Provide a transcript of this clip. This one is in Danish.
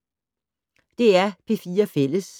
DR P4 Fælles